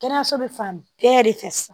Kɛnɛyaso bɛ fan bɛɛ de fɛ sisan